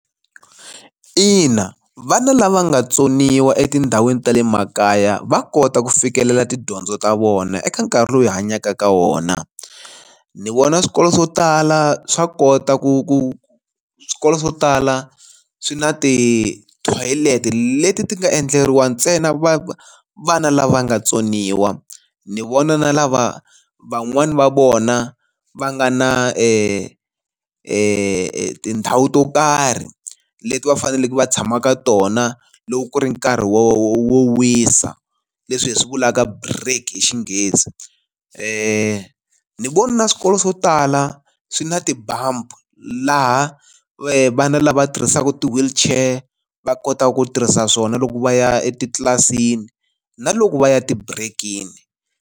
Ina vana lava nga tsoniwa etindhawini ta le makaya va kota ku fikelela tidyondzo ta vona eka nkarhi lowu hi hanyaka ka wona, ni vona swikolo swo tala swa kota ku ku swikolo swo tala swi na ti-toilet leti ti nga endleriwa ntsena vana lava nga tsoniwa. Ni vona na lava van'wani va vona va nga na tindhawu to karhi leti va faneleke va tshama ka tona loko ku ri nkarhi wo wisa leswi hi swi vulaka break hi xinghezi. Ni vona na swikolo swo tala swi na bump laha vana lava tirhisaka ti-wheelchair va kotaka ku tirhisa swona loko va ya etitlilasini na loko va ya tibirekini.